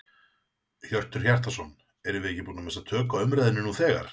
Hjörtur Hjartarson: Erum við ekki búin að missa tök á umræðunni nú þegar?